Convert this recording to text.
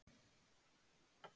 Hvað eruð þið með til sölu hér?